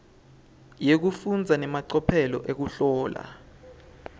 yekufundza nemacophelo ekuhlola